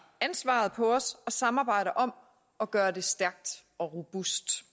ansvaret på os og samarbejder om at gøre det stærkt og robust